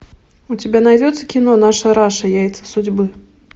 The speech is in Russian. у тебя найдется кино наша раша яйца судьбы